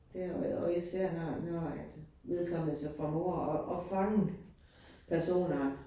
Det og og især når når, at vedkommende så formår at at fange personer